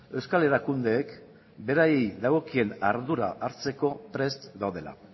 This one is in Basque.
euskal erakundeek beraiei dagokien ardura hartzeko prest daudela